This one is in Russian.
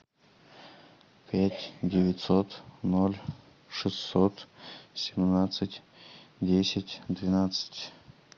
пять девятьсот ноль шестьсот семнадцать десять двенадцать